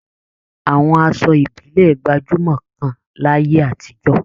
Àwọn aṣọ ìbílẹ̀ gbajúmọ̀ gan láyé àtijọ́